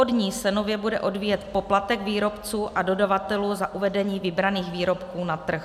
Od ní se bude nově odvíjet poplatek výrobců a dodavatelů za uvedení vybraných výrobků na trh.